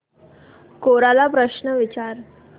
कोरा ला प्रश्न विचार